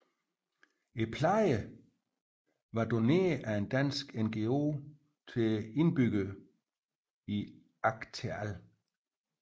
Pladerne var doneret af en dansk NGO til indbyggerne i Acteal